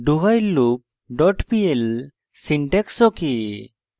dowhileloop pl syntax ok